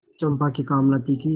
चंपा की कामना थी कि